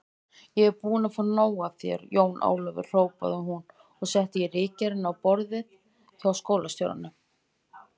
Ég er búin að fá nóg af þér, Jón Ólafur hrópaði hún og setti ritgerðina á borðið hjá skólastjóranum.